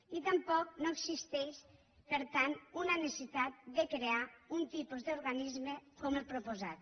i tampoc no existeix per tant una necessitat de crear un tipus d’organisme com el que s’ha proposat